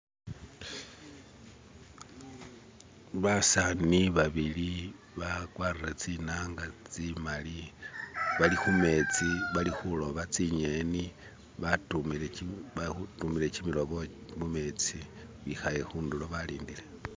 Basani babili bakwarire tsinanga tsimali, bali khumetsi bali khuloba tsingeni batumile kimilobo mumetsi bikhaye khundulo balindile